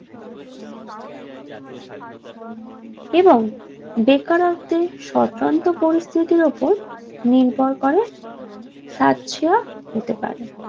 এবং বেকারত্বের সতন্ত্র পরিস্থিতির উপর নির্ভর করে সাচ্ছাহতে পারে